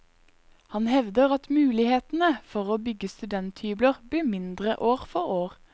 Han hevder at mulighetene for å bygge studenthybler blir mindre år for år.